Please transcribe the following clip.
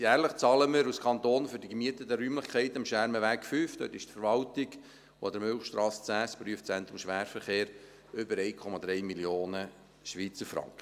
Jährlich zahlen wir als Kanton für die gemieteten Räumlichkeiten am Schermenweg 5 – dort ist die Verwaltung – und an der Milchstrasse 10 – das Prüfzentrum Schwerverkehr – über 1,3 Mio. Schweizer Franken.